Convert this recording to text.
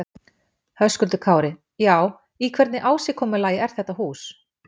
Höskuldur Kári: Já, í hvernig ásigkomulagi er þetta hús?